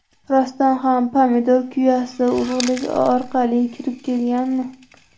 Rostdan ham pomidor kuyasi urug‘lik orqali kirib kelganmi?